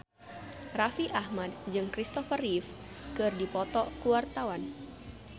Raffi Ahmad jeung Christopher Reeve keur dipoto ku wartawan